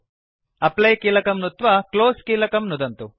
apply कीलकं नुत्वा close कीलकं नुदन्तु